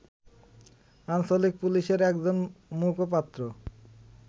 আঞ্চলিক পুলিশের একজন মুখপাত্র